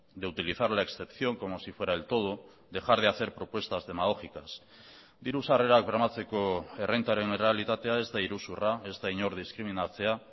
de utilizar la excepción como si fuera el todo dejar de hacer propuestas demagógicas diru sarrerak bermatzeko errentaren errealitatea ez da iruzurra ez da inor diskriminatzea